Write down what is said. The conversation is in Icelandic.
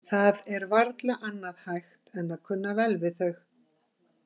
Það er varla annað hægt en að kunna vel við þau.